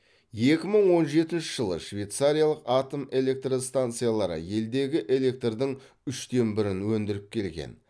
екі мың он жетінші жылы швейцариялық атом электростанциялары елдегі электрдің үштен бірін өндіріп келген